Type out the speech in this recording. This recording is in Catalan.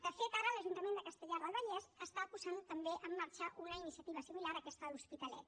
de fet ara l’ajuntament de castellar del vallès està posant també en marxa una iniciativa similar a aquesta de l’hospitalet